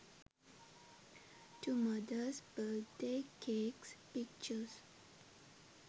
to mothers birthday cakes pictures